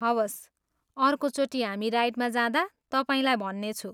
हवस्, अर्कोचोटि हामी राइडमा जाँदा तपाईँलाई भन्नेछु।